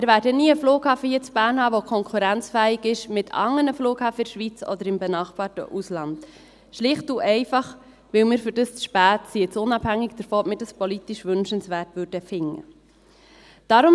Wir werden nie einen Flughafen hier in Bern haben, der konkurrenzfähig ist mit anderen Flughäfen in der Schweiz oder im benachbarten Ausland, schlicht und einfach, weil wir dafür zu spät sind, jetzt unabhängig davon, ob wir das politisch wünschenswert finden oder nicht.